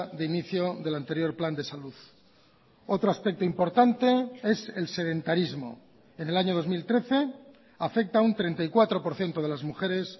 de inicio del anterior plan de salud otro aspecto importante es el sedentarismo en el año dos mil trece afecta a un treinta y cuatro por ciento de las mujeres